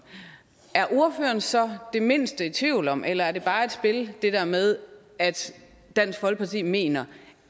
er ordføreren så det mindste i tvivl om eller er det bare et spil det der med at dansk folkeparti mener